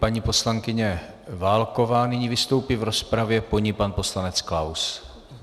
Paní poslankyně Válková nyní vystoupí v rozpravě, po ní pan poslanec Klaus.